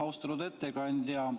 Austatud ettekandja!